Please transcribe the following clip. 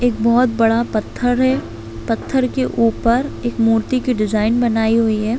एक बहुत बड़ा पत्थर है पत्थर के ऊपर एक मूर्ति की डिजाइन बनाई हुई है।